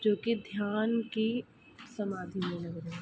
जो कि ध्यान की समाधि मे लग रहे है।